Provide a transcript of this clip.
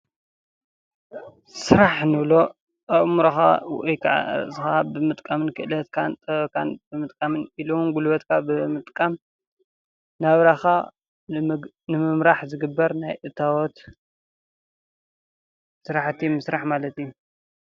ስራሕ እንብሎ ኣእምሮካ ወይ ከኣ ርእስካ ብምጥቃም ክእለትካን ጥበብካን ኢሉ እውን ጉልበትካን ኣብ ምጥቃም ናብራካ ንምምራሕ ዝግበር ናይ እታዎት ስራሕቲ ምስራሕ ማለት እዩ።